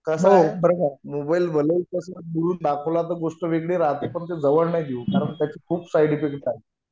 कसय बरं का मोबाईल भलेही दुरून दाखवला तर गोष्ट वेगळी राहते पण ते जवळ नाही देऊ कारण त्याचे खूप साईड इफेक्ट्स